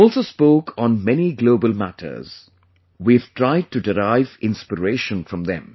We also spoke on many global matters; we've tried to derive inspiration from them